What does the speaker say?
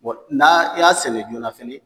Bon n'a y'a sɛnɛ joona fɛnɛ